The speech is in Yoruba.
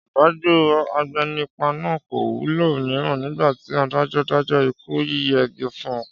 Ọ̀dájú agbénipa náà kò wulẹ̀ mira nígbà tí adájọ́ dájọ́ ikú yíyẹgi fun